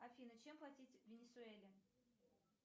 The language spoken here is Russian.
афина чем платить в венесуэле